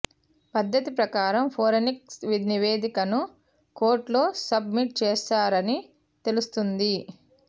పద్ధతి ప్రకారం ఫోరెన్సిక్ నివేదికను కోర్టులో సబ్ మిట్ చేసారని తెలుస్తోంది